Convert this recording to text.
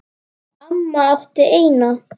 Amma átti eina.